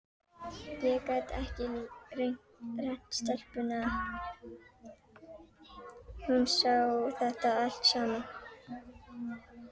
Ég gat ekki rengt stelpuna, hún sá þetta allt saman.